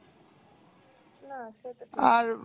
না সেটা তো ঠিক।